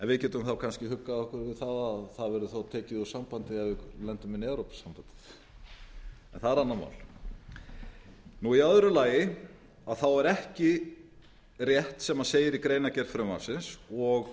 við getum þá kannski huggað okkur við það að þaðverður þá tekið úr sambandi ef við lendum inni í evrópusambandinu en það er annað mál í öðru lagi er það ekki rétt sem segir í greinargerð frumvarpsins og